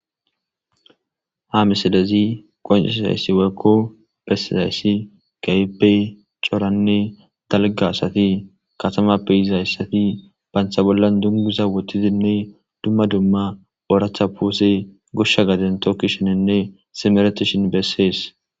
ha misadezi qonciisayssi weekko bessizayssi gayibe coranne dalga asati katama beyizayssati bantha bollan dungiza wotizinne dumma dumma ooracha puuse gushsha gaden tooki shenenne simeretishin bessees